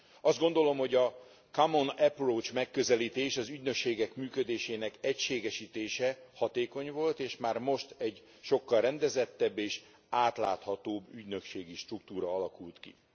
Azt gondolom, hogy a common approach megközelítés, az ügynökségek működésének egységesítése hatékony volt, és már most egy sokkal rendezettebb és átláthatóbb ügynökségi struktúra alakult ki.